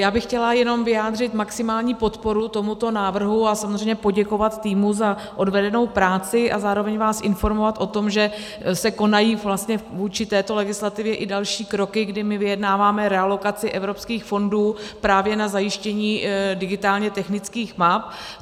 Já bych chtěla jenom vyjádřit maximální podporu tomuto návrhu a samozřejmě poděkovat týmu za odvedenou práci a zároveň vás informovat o tom, že se konají vůči této legislativě i další kroky, kdy my vyjednáváme realokaci evropských fondů právě na zajištění digitálně technických map.